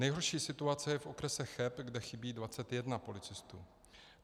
Nejhorší situace je v okrese Cheb, kde chybí 21 policistů.